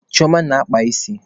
Chioma na-akpa isi.